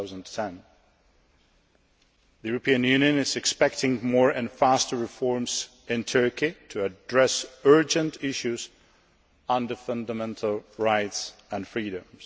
2010. The European Union is expecting more and faster reforms in Turkey to address urgent issues under fundamental rights and freedoms.